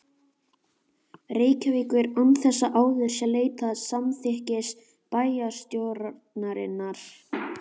Reykjavíkur, án þess að áður sé leitað samþykkis bæjarstjórnarinnar.